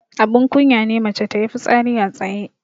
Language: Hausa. Abun kunya ne mace tayi fitsari a tsaye.